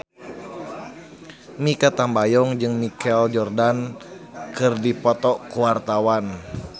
Mikha Tambayong jeung Michael Jordan keur dipoto ku wartawan